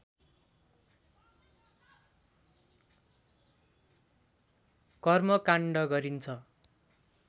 कर्मकाण्ड गरिन्छ